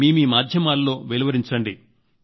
మీ మాధ్యమాలలో వెలువరించండి